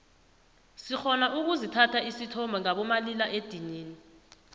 sirhona ukuzithatha isithombe ngabo malila edinini